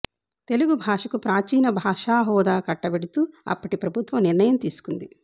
తెలుగుభాషకు ప్రాచీన భాష హోదా కట్టబెడుతూ అప్పటి ప్రభుత్వం నిర్ణయం తీసుకుంది